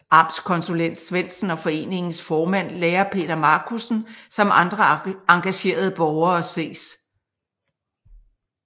Amtskonsulent Svendsen og foreningens formand lærer Peter Marcussen samt andre engagerede borgere ses